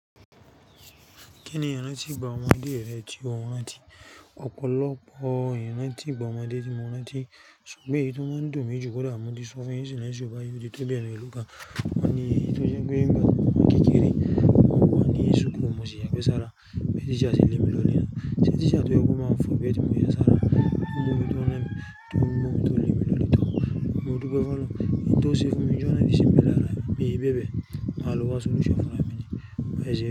Kí ni ìrán tí ìgbà ọmọdé rẹ ti o rántí ọ̀pọ̀lọpọ̀ ìrántí ìgbà ọmọdé tí mo rántí ṣùgbọ́n èyí tọ́ mọ́n ń dùn mí jù kọ́dà moti sọ fún yín ṣùgbọ́n ṣùgbọ́n ó ti tó bí ẹ̀meèlo kan. Mo ní èyí tó jẹ́ pé ń gba ti mọ wa n kékeré, mo wa ni school mọ sí yagbe sára, bí teacher se le mi lọle nu. Ṣé ti iṣẹ́ tó jẹ́ kó máa fún bẹ́ẹ̀ tí òun yá sára, kí n mú tó le mú lọ níta. Mo dúpẹ́ fún ẹ, kí n tó ṣí eégún mi lọ́lá ní ìsinmi lára, bí i bẹ́ẹ̀ bẹ́ẹ̀, màá lo wá sun iṣẹ́ fún ẹ níní, mo pèsé.